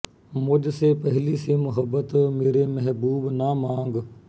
ਮੁਝ ਸੇ ਪਹਲੀ ਸੀ ਮਹੱਬਤ ਮੇਰੇ ਮਹਿਬੂਬ ਨਾ ਮਾਂਗ